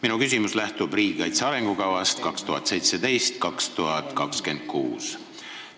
Minu küsimus lähtub riigikaitse arengukavast 2017–2026.